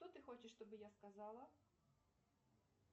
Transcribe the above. что ты хочешь что бы я сказала